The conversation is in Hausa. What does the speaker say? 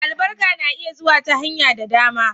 Albarka na iya zuwa ta hanyar da dama.